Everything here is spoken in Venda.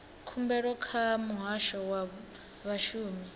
khumbelo kha muhasho wa vhashumi